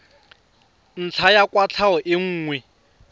ntlha ya kwatlhao e nngwe